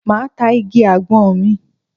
Máa ta igi àgbọn mi.